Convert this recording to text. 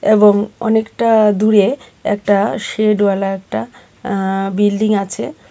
এবং অনেকটা দূরে একটা সেড ওয়ালা একটা অ্যা বিল্ডিং আছে।